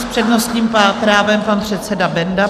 S přednostním právem pan předseda Benda.